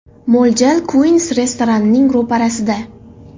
Mo‘ljal Queens restoranining ro‘parasida.